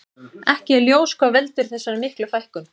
Ekki er ljós hvað veldur þessar miklu fækkun.